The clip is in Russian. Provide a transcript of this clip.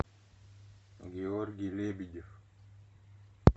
георгий лебедев